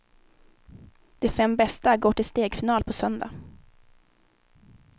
De fem bästa går till stegfinal på söndag.